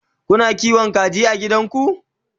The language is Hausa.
Kuna kiwon kaji a gidanku?